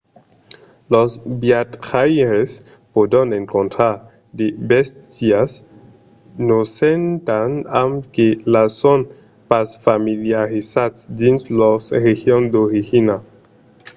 los viatjaires pòdon encontrar de bèstias nosentas amb las que son pas familiarizats dins lors regions d’origina